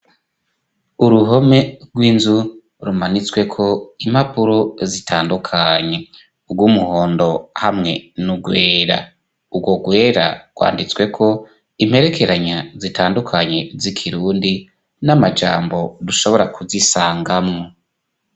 Uruhome rw'inzu rumanitsweko impapuro zitandukanye urwo umuhondo hamwe ni urwera uwo rwera rwanditsweko imperekeranya zitandukanye zikirundi n'amajambo rushobora kuzisangamwo.